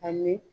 Ani